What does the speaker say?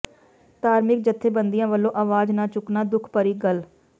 ਧਾਰਮਿਕ ਜੱਥੇਬੰਦੀਆਂ ਵਲੋਂ ਆਵਾਜ਼ ਨਾ ਚੁੱਕਣਾ ਦੁੱਖ ਭਰੀ ਗੱਲ